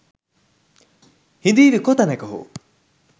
”හිඳීවි කොතැනක හෝ